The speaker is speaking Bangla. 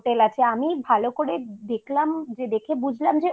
আছে যে আমি ভালো করে দেখলাম যে দেখে বুঝলাম যে